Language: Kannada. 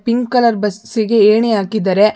ಪಿಂಕ್ ಕಲರ್ ಬಸ್ಸಿಗೆ ಎಣಿ ಹಾಕಿದ್ದಾರೆ.